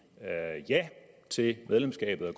ja til medlemskab af